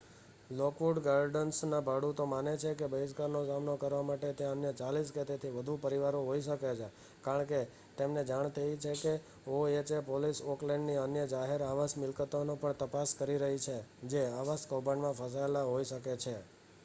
Lockwood ગાર્ડન્સના ભાડૂતો માને છે કે બહિષ્કારનો સામનો કરવા માટે ત્યાં અન્ય 40 કે તેથી વધુ પરિવારો હોઈ શકે છે કારણ કે તેમને જાણ થઈ છે કે ઓએચએ પોલીસ ઓકલેન્ડની અન્ય જાહેર આવાસ મિલકતોની પણ તપાસ કરી રહી છે જે આવાસ કૌભાંડમાં ફસાયેલા હોઈ શકે છે